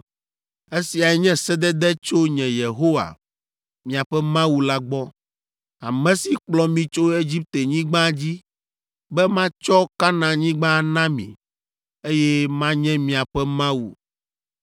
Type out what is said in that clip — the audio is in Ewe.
Esiae nye sedede tso nye, Yehowa, miaƒe Mawu la gbɔ, ame si kplɔ mi tso Egiptenyigba dzi be matsɔ Kanaanyigba ana mi, eye manye miaƒe Mawu.